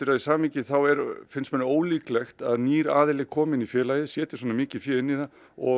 því samhengi finnst manni ólíklegt að nýr aðili komi inn í félagið setji svona mikið inn í það og